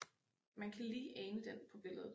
Man kan lige ane den på billedet